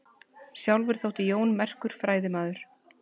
Sjálfur þótti Jón merkur fræðimaður.